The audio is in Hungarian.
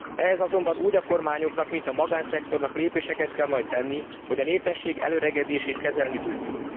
Ehhez azonban úgy a kormányoknak, mint a magánszektornak lépéseket kell majd tenni, hogy a népesség elöregedését kezelni tudjuk.